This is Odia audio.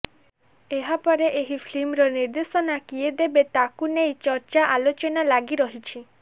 ଏହାପରେ ଏହି ଫିଲ୍ମର ନିର୍ଦ୍ଦେଶନା କିଏ ଦେବେ ତାକୁ ନେଇ ଚର୍ଚ୍ଚା ଆଲୋଚନା ଲାଗି ରହିଛି